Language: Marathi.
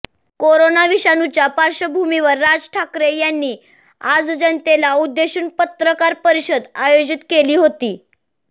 कोरोना विषाणूच्या पार्श्वभूमीवर राज ठाकरे यांनी आज जनतेला उद्देशून पत्रकार परिषद आयोजित केली होती